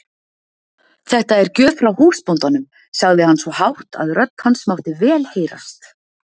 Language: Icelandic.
Þetta er gjöf frá húsbóndanum, sagði hann svo hátt að rödd hans mátti vel heyrast.